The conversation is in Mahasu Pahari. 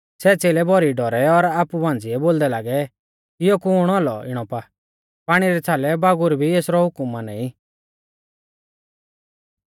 सै च़ेलै भौरी डौरै और आपु मांझ़िऐ बोलदै लागै इयौ कुण औलौ इणौ पा पाणी रै छ़ालै बागुर भी एसरौ हुकम माना ई